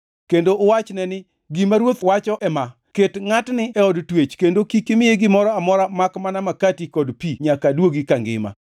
kendo uwachne ni, ‘Gima ruoth wacho ema: Ket ngʼatni e od twech kendo kik imiye gimoro amora makmana makati kod pi nyaka aduogi kangima.’ ”